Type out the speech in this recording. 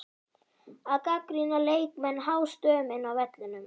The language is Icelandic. Að gagnrýna leikmenn hástöfum inni á vellinum?